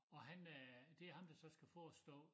Og han øh det ham der så skal forestå